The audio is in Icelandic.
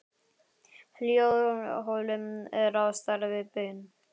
Hljóðholið er á stærð við baun.